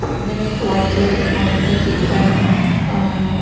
सामने में एक वाइट कलर का काउंटर दिख रहा है अ--